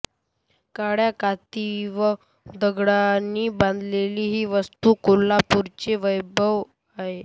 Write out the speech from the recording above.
काळ्या कातीव दगडांनी बांधलेली ही वास्तू कोल्हापुरचे वैभव आहे